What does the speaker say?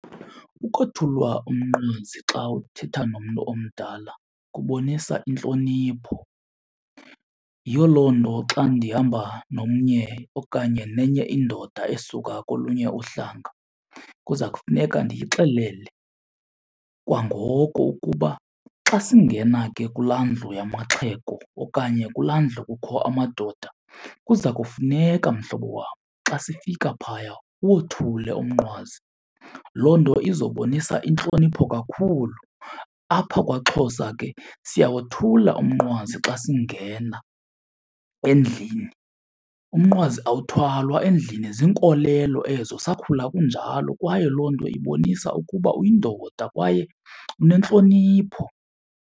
Ukothulwa umnqwazi xa uthetha nomntu omdala kubonisa intlonipho. Yiyo loo nto xa ndihamba nomnye okanye nenye indoda esuka kolunye uhlanga kuza kufuneka ndiyixelele kwangoko ukuba xa singena ke kulaa ndlu yamaxhego okanye kulaa ndlu kukho amadoda kuza kufuneka mhlobo wam xa sifika phaya uwothule umnqwazi. Loo nto izobonisa intlonipho kakhulu. Apha kwaXhosa ke siyawothula umnqwazi xa singena endlini, umnqwazi awuthwalwa endlini. Zinkolelo ezo, sakhula kunjalo kwaye loo nto ibonisa ukuba uyindoda kwaye unentlonipho.